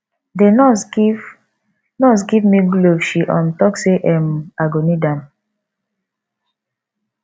the nurse give nurse give me glove she um talk say um i go need am